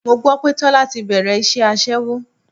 Mo gbọ́ pé Tọ́lá ti bẹ̀rẹ̀ iṣẹ́ aṣẹ́wó.